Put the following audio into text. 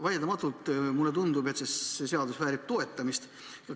Vaieldamatult mulle tundub, et see seadus väärib toetamist.